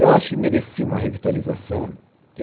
Eu acho que merecia uma revitalização.